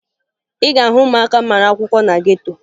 Ị ga-ahụ ụmụaka mara akwụkwọ na geto